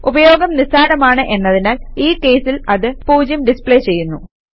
ഉപയോഗം നിസ്സാരമാണ് എന്നതിനാൽ ഈ കേസിൽ അത് 0 ഡിസ്പ്ലേ ചെയ്യുന്നു